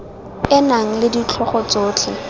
e nang le ditlhogo tsotlhe